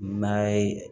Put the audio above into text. N'a ye